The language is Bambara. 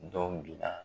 Dɔw bila